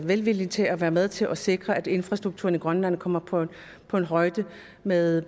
velvilje til at være med til at sikre at infrastrukturen i grønland kommer på højde med